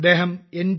അദ്ദേഹം എൻ